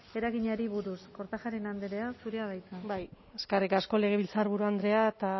eraginari buruz kortajarena anderea zurea da hitza bai eskerrik asko legebiltzarburu andrea eta